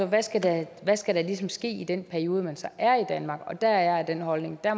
hvad skal der skal der ligesom ske i den periode man så er i danmark der er jeg af den holdning at